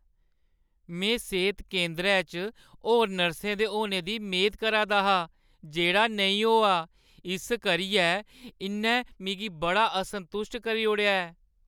"में सेह्त केंदरै च होर नर्सें दे होने दी मेद करा दा हा जेह्ड़ा नेईं होआ, इस करियै इʼन्नै मिगी बड़ा असंतुश्ट करी ओड़ेआ ऐ।"